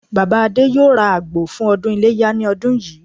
Bàbá Adé yóò ra àgbò fún ọdún Iléyá ní ọdún yìí